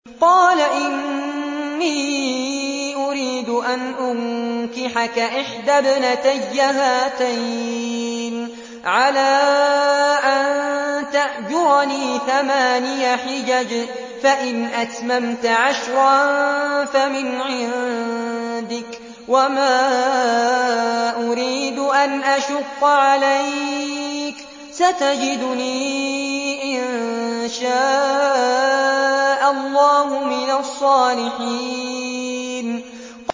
قَالَ إِنِّي أُرِيدُ أَنْ أُنكِحَكَ إِحْدَى ابْنَتَيَّ هَاتَيْنِ عَلَىٰ أَن تَأْجُرَنِي ثَمَانِيَ حِجَجٍ ۖ فَإِنْ أَتْمَمْتَ عَشْرًا فَمِنْ عِندِكَ ۖ وَمَا أُرِيدُ أَنْ أَشُقَّ عَلَيْكَ ۚ سَتَجِدُنِي إِن شَاءَ اللَّهُ مِنَ الصَّالِحِينَ